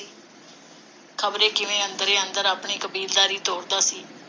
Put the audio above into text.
ਖਬਰੇ ਕਿਵੇਂ ਅੰਦਰੇ ਅੰਦਰ ਆਪਣੀ ਕਬੀਲਦਾਰੀ ਤੋਰਦਾ ਸੀ।